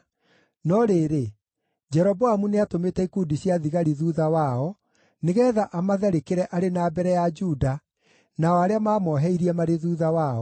No rĩrĩ, Jeroboamu nĩatũmĩte ikundi cia thigari thuutha wao, nĩgeetha amatharĩkĩre arĩ na mbere ya Juda nao arĩa maamoheirie marĩ thuutha wao.